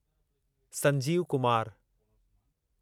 Sanjeev Kumar